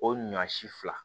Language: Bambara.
O ɲɔ si fila